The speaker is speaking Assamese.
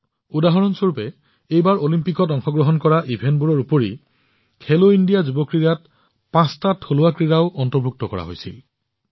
উদাহৰণ স্বৰূপে এইবাৰ অলিম্পিকত অংশগ্ৰহণ কৰা ইভেণ্টবোৰৰ উপৰিও খেলো ইণ্ডিয়া যুৱ ক্ৰীড়াত পাঁচবিধ থলুৱা ক্ৰীড়াও অন্তৰ্ভুক্ত কৰা হৈছিল